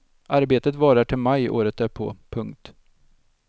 Arbetet varar till maj året därpå. punkt